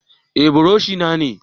Eh buroshi na ne.